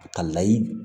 Ka layi